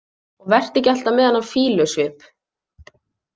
Og vertu ekki alltaf með þennan fýlusvip.